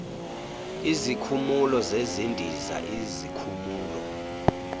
izikhumulo zezindiza izikhulumo